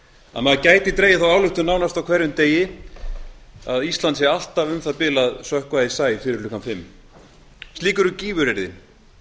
að maður gæti dregið þá ályktun nánast á hverjum degi að ísland sé alltaf um það bil að sökkva í sæ fyrir klukkan fimm slík eru gífuryrðin oft